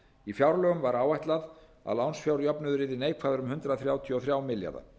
í fjárlögum var áætlað að lánsfjárjöfnuður yrði neikvæður um hundrað þrjátíu og þrjá milljarða